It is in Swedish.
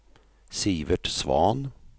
Sivert Svahn